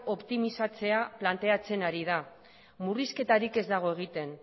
optimizatzea planteatzen ari da murrizketarik ez dago egiten